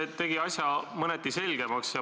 See tegi asja mõneti selgemaks.